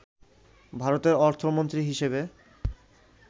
ভারতের অর্থমন্ত্রী হিসেবে